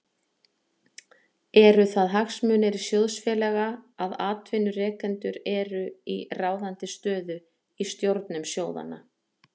Eru það hagsmunir sjóðfélaga að atvinnurekendur eru í ráðandi stöðu í stjórnum sjóðanna?